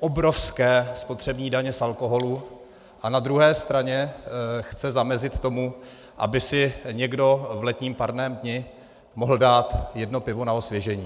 obrovské spotřební daně z alkoholu a na druhé straně chce zamezit tomu, aby si někdo v letním parném dni mohl dát jedno pivo na osvěžení.